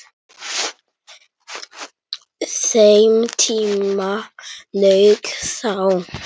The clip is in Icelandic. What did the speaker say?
Þeim tíma lauk þá.